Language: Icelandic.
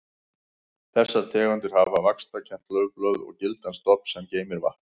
Þessar tegundir hafa þykk og vaxkennd laufblöð og gildan stofn sem geymir vatn.